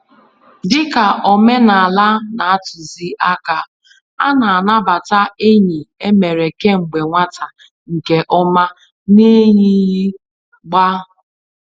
Dị ka omenala na-atuzi àkà, a na-anabata enyi e mere kemgbe nwata nke ọma n'eyighị gbá.